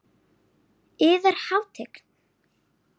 Yðar Hátign!